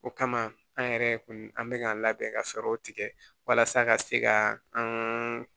O kama an yɛrɛ kun an bɛ ka labɛn ka fɛɛrɛw tigɛ walasa ka se ka an ka